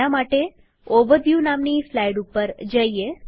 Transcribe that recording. આના માટેઓવરવ્યુ નામની સ્લાઈડ ઉપર જઈએ